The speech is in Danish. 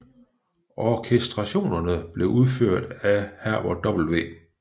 Orkestrationerne blev udført af Herbert W